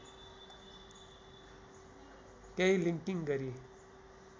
केही लिङ्किङ गरी